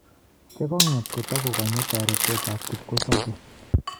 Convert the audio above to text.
Chegong'et kotogogonye toreetet ab kipkosobee.